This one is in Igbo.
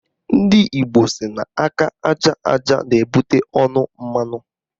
Ndị Igbo sị na aka aja aja na-ebute ọnụ mmanụ